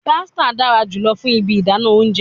Pestle dara julọ fun ibi idana ounjẹ